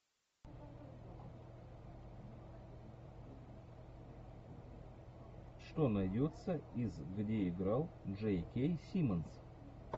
что найдется из где играл джей кей симмонс